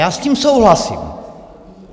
Já s tím souhlasím.